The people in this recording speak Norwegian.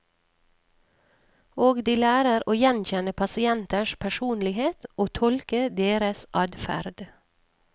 Og de lærer å gjenkjenne pasienters personlighet, og tolke deres adferd.